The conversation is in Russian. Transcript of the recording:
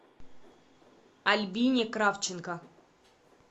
альбине кравченко